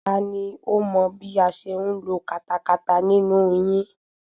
Tani ó mọ bí a ṣe ń lo katakata nínú yín?